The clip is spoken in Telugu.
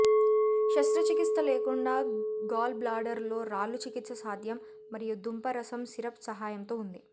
శస్త్రచికిత్స లేకుండా గాల్ బ్లాడర్ లో రాళ్ళు చికిత్స సాధ్యం మరియు దుంప రసం సిరప్ సహాయంతో ఉంది